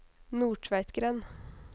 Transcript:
Nordtveitgrend